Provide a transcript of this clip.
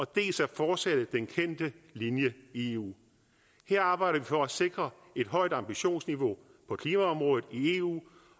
dels at fortsætte den kendte linje i eu her arbejder vi for at sikre et højt ambitionsniveau på klimaområdet i eu